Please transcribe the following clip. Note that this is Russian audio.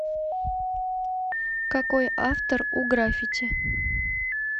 какой автор у граффити